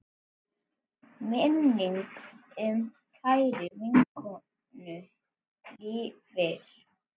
Minning um kæra vinkonu lifir.